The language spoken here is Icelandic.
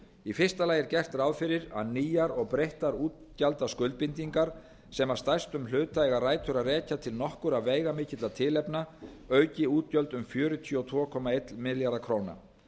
í fyrsta lagi er gert ráð fyrir að nýjar og breyttar útgjaldaskuldbindingar sem að stærstum hluta eiga rætur að rekja til nokkurra veigamikilla tilefna auki útgjöld um fjörutíu og tvö komma einn milljarð króna